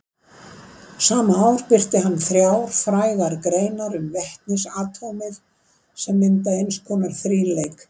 Sama ár birti hann þrjár frægar greinar um vetnisatómið sem mynda eins konar þríleik.